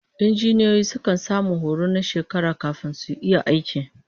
Injiniyoyi sukan samu horo na shekaru kafin su iya aiki